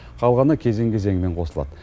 қалғаны кезең кезеңімен қосылады